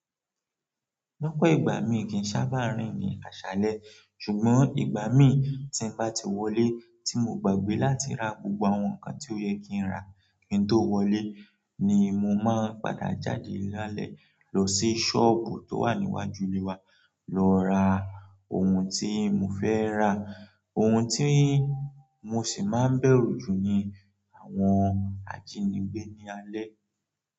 Lọ́pọ̀ ìgbà mí kì í ṣábà rìn ní aṣálẹ́, ṣùgbọ́n ìgbà mí tí n bá ti wọlé tí mo gbàgbé láti ra gbogbo àwọn nǹkan tí ó yẹ kí n rà kí n tó wọlé ni mo máa n padà jáde lálẹ́ lọ sí ṣọ́ọ̀bù tó wà níwájú ilé wa lọ ra ohun tí mo fẹ́ rà. Ohun tí mo sì máa ń bẹ̀rù jù ni àwọn ajínigbé ní alẹ́